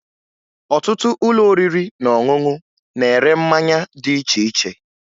Ọtụtụ ụlọ oriri na ọṅụṅụ na-ere mmanya dị iche iche